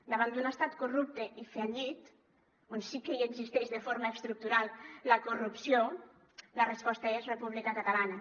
davant d’un estat corrupte i fallit on sí que hi existeix de forma estructural la corrupció la resposta és república catalana